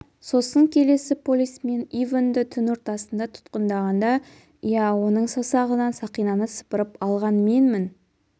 сосын келесі полисмен ивэнді түн ортасында тұтқындағанда иә оның саусағынан сақинаны сыпырып алған менмін